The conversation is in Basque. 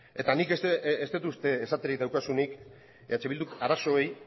eta nik ez dut uste esaterik daukazunik eh bilduk arazoei